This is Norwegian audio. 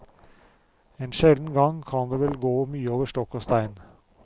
En sjelden gang kan det gå vel mye over stokk og stein.